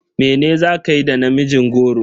Mene za kayi da namijin goro?